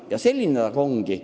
Ja nii ongi.